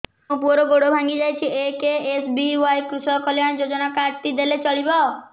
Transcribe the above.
ମୋ ପୁଅର ଗୋଡ଼ ଭାଙ୍ଗି ଯାଇଛି ଏ କେ.ଏସ୍.ବି.ୱାଇ କୃଷକ କଲ୍ୟାଣ ଯୋଜନା କାର୍ଡ ଟି ଦେଲେ ଚଳିବ